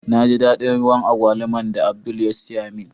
Na ji dadin ruwan Agwaluman da Abdul ya siya min.